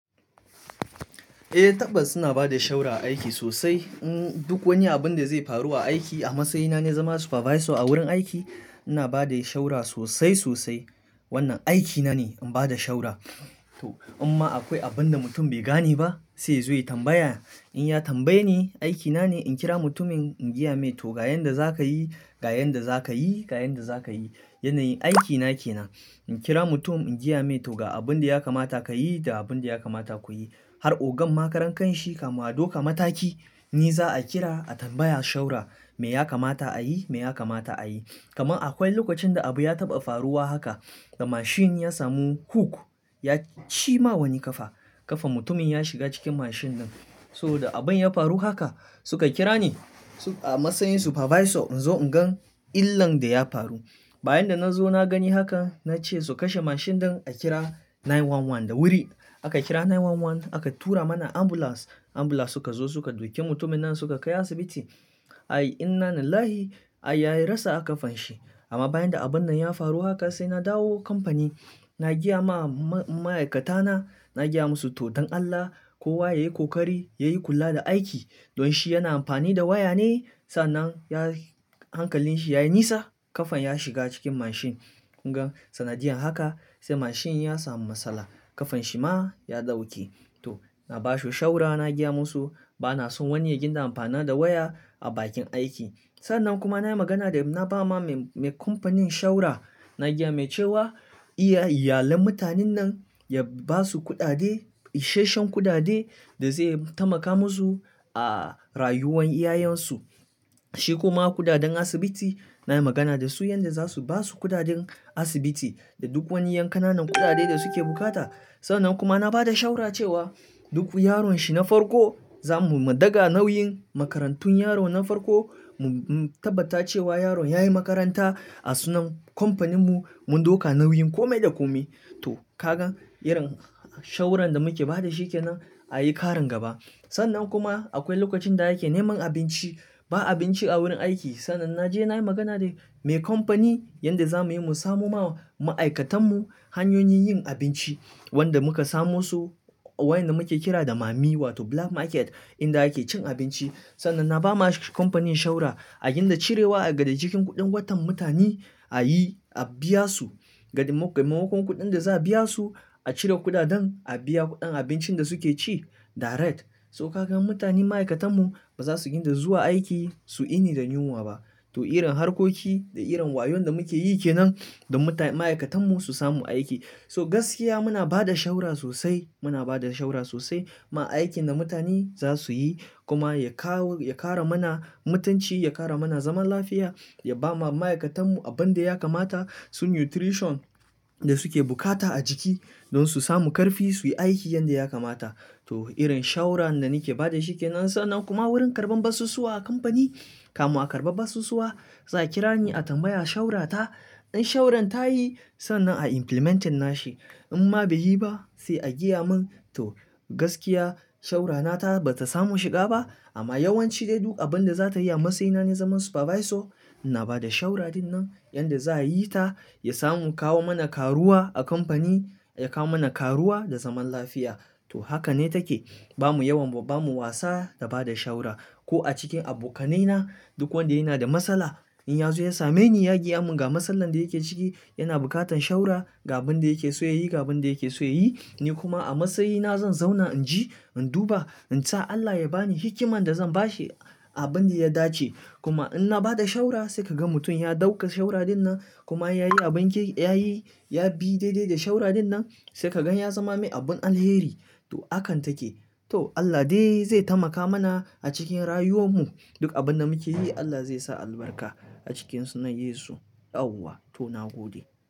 Eh, tabbas ina ba da shawarar aiki sosai. Duk wani abin da zai faru a aiki, a matsayina na zama supervisor a wurin aiki, ina ba da shawarar sosai sosai. Wannan aikina ne, in ba da shawarar. Imma akwai abin da mutum bai gane ba, sai ya zo ya tambaya. In ya tambaye ni, aikina ne in kira mutumin in gaya mai, "Toh, ga yanda za ka yi, ga yanda za ka yi, ga yanda za ka yi." Yanayin aikina ke nan. In kira mutum in gaya mai, "Toh, ga abin da ya kamata ka yi da abin da ya kamata ku yi." Har ogan makarantar kanshi, kamu ado kamata ki, ni za a kira a tambaya shawarar me ya kamata a yi, me ya kamata a yi. Kama akwai lokacin da abu ya taɓa faruwa haka, da mashin ya samu hook, ya cima wani kafa. Kafan mutumin ya shiga cikin mashin ɗin. So da abin ya faru haka, suka kira ni a matsayin supervisor in zo in gan illan da ya faru. Bayan da na zo na gani haka, na ce su kashe mashin ɗin a kira 911 da wuri. Aka kira 911, aka tura mana ambulance. Ambulance suka zo suka duke mutumin nan suka kai asibiti. Inna lillahi, har ya rasa aka fanshi. Amma bayan da abun nan ya faru haka, sai na dawo kamfani na gaya ma ma'aikatana, na gaya musu, "to don Allah, kowa ya yi kokari, ya yi kula da aiki." Don shi yana amfani da waya ne, sannan hankalin shi ya yi nisa, kafan ya shiga cikin mashin. Kun gan sanadiyan haka, sai mashin ya samu matsala, kafan shi ma ya ɗauke. To, na ba su shawarar na gaya musu bana so wani ya ginda amfana da waya a bakin aiki. Sannan kuma na yi magana da na ba ma mai kamfanin shawarar, na gaya mai cewa iyalan mutanen nan ya ba su kuɗaɗe, isheshen kuɗaɗe da zai taimaka musu a rayuwan iyayensu. Shi kuma kuɗaɗen asibiti, na yi magana da su yanda za su ba su kuɗaɗen asibiti da duk wani yanƙanan kuɗaɗe da suke bukata. Sannan kuma na ba da shawarar cewa duk yaron shi na farko, za mu mu daga nauyin makarantun yaron na farko, mu tabbata cewa yaron ya yi makaranta a sunan kamfaninmu, mu ɗauka nauyin kome da kome. To, ka gan irin shawarar da muke ba da shi ke nan a yi ƙarin gaba. Sannan kuma akwai lokacin da ake neman abinci, ba abinci a wurin aiki. Sannan na je na yi magana da mai kamfani yanda za mu yi mu samu ma ma'aikatanmu hanyoyin yin abinci wanda muka samu su a wajen da muke kira da mommy wato black market inda ake cin abinci. Sannan na ba masu kamfanin shawarar a ginda cirewa daga cikin kuɗin watan mutani, a yi a biya su. Maimakon kuɗin da za a biya su, a cire kuɗaɗen a biya kuɗin abincin da suke ci direct. So ka gan mutani ma'aikatanmu ba za su ginda zuwa aiki su ini da yunwa ba. To, irin harkoki da irin wayon da muke yi ke nan don ma'aikatanmu su samu aiki. So gaskiya muna ba da shawarar sosai, muna ba da shawarar sosai kuma aiki da mutani za su yi kuma ya kawo, ya ƙara mana mutunci, ya ƙara mana zaman lafiya, ya ba ma ma'aikatanmu abin da ya kamata, su nutrition da suke bukata a jiki don su samu ƙarfi su yi aiki yanda ya kamata. To, irin shawarar da nake ba da shi ke nan. Sannan kuma wurin karɓan basusuwa a kamfani, kamu a karɓar basusuwa, za a kira ni a tambaya shawarata. In shawaran ta yi sannan a implementinna shi. Amma bai yi ba, sai a gaya mun. To gaskiya shawara nata ba ta samu shiga ba, amma yawanci dai duk abin da za ta yi a matsayina na zaman supervisor, ina ba da shawarar dinnan yanda za a yi ta, ya samu kawo mana karuwa a kamfani, ya kawo mana karuwa da zaman lafiya. To, haka ne take. Ba mu yawan ba, ba mu wasa da ba da shawarar. Ko a cikin abokanaina, duk wanda yana da matsala, in ya zo ya same ni, ya gaya mun ga matsalar da yake ciki yana bukatan shawara ga abin da yake so ya yi, ga abin da yake so ya yi, ni kuma a matsayina zan zauna in ji, in duba, in sa Allah ya ba ni hikiman da zan ba shi abin da ya dace. Kuma in na ba da shawarar, sai ka ga mutum ya ɗauka shawara dinnan kuma ya yi abin ke, ya yi, ya bi daidai da shawara dinnan, sai ka gan ya zama mai abun alheri. To, hakan take. To, Allah dai zai taimaka mana a cikin rayuwanmu. Duk abin da muke yi, Allah zai sa albarka a cikinsu na Yesu ɗan Allah. To, na gode.